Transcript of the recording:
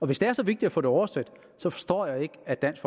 hvis det er så vigtigt at få det oversat forstår jeg ikke at dansk